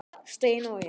Steina og ég.